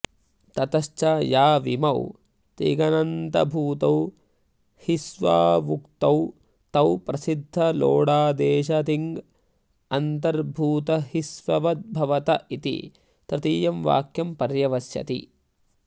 ततश्च याविमौ तिङनन्तर्भूतौ हिस्वावुक्तौ तौ प्रसिद्धलोडादेशतिङन्तर्बूतहिस्ववद्भवत इति तृतीयं वाक्यं पर्यवस्यति